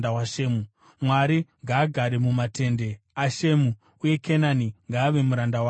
Mwari ngaakurise nyika yaJafeti; Jafeti ngaagare mumatende aShemu, uye Kenani ngaave muranda wake.”